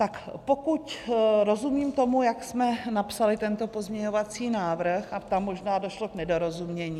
Tak pokud rozumím tomu, jak jsme napsali tento pozměňovací návrh - a tam možná došlo k nedorozumění.